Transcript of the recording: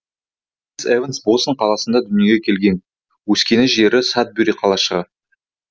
крис эванс бостон қаласында дүниеге келген өскен жері садбюри қалашығы